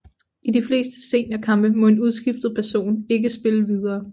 I de fleste seniorkampe må en udskiftet person ikke spille videre